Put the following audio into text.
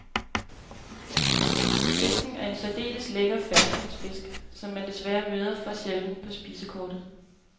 Fisken er en særdeles lækker ferskvandsfisk, som man desværre møder for sjældent på spisekortet.